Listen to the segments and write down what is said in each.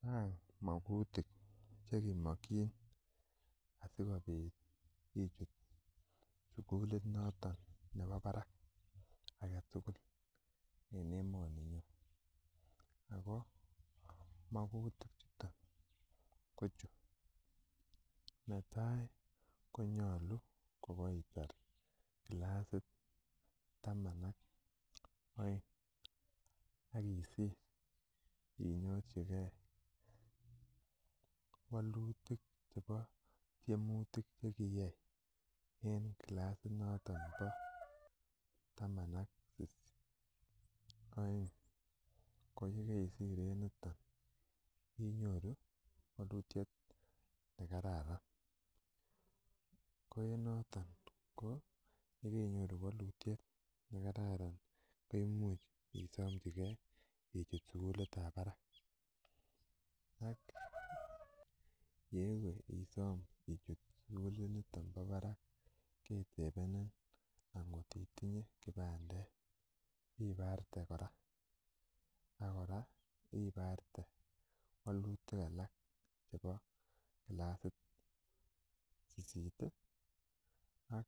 Chang mokutik chekimokyin asikobit ichut sugulit noton nebo barak aketugul en emoninyon ako mokutik chuton ko chu netai konyolu kokoitar clasit taman ak oeng akisir inyorchigee wolutik chebo tyemutik chekikiyai en clasit noton bo taman ak oeng ko yekeisir en yuton inyoru wolutiet nekararan ko en noton ko yekeinyoru wolutiet nekararan imuch isomchigee ichut sugulit ab barak ak yewe isom ichut sugulit niton nebo barak ketebenin angot itinye kipandet ibarte kora ak kora ibarte wolutik alak chebo clasit sisit ak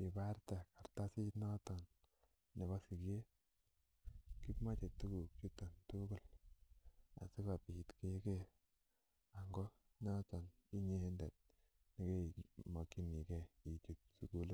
ibarte kartasit noton nebo siget, kimoche tuguk chuton tugul asikobit keker ngo noton inyendet nekimokyingee ichut sugulit